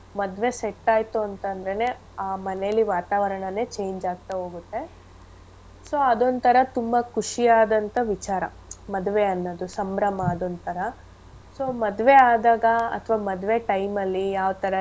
ಮದ್ವೆ set ಆಯ್ತು ಅಂತ್ ಅಂದ್ರೆನೆ ಆ ಮನೇಲಿ ವಾತಾವರಣನೆ change ಆಗ್ತಾ ಹೋಗುತ್ತೆ. So ಅದ್ ಒಂತರ ತುಂಬಾ ಖುಷಿಯಾದಂತ ವಿಚಾರ ಮದ್ವೆ ಅನ್ನೋದು ಸಂಭ್ರಮ ಅದೊಂತರ. So ಮದ್ವೆ ಆದಾಗ ಅತ್ವ ಮದ್ವೆ time ಅಲ್ಲಿ ಯಾವ್ ತರ ready .